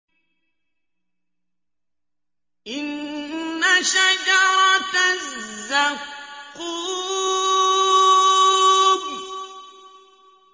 إِنَّ شَجَرَتَ الزَّقُّومِ